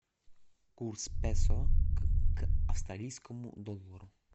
курс песо к австралийскому доллару